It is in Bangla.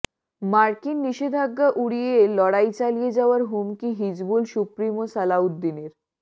মার্কিন নিষেধাজ্ঞা উড়িয়ে লড়াই চালিয়ে যাওয়ার হুমকি হিজবুল সুপ্রিমো সালাউদ্দিনের